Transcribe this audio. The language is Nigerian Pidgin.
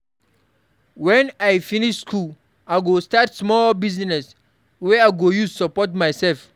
Wen I finish school, I go start small business wey I go use support mysef.